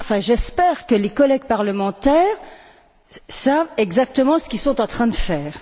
J'espère que les collègues parlementaires savent exactement ce qu'ils sont en train de faire.